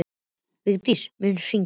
Vigdís, mun rigna í dag?